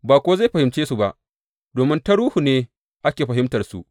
Ba kuwa zai fahimce su ba, domin ta Ruhu ne ake fahimtarsu.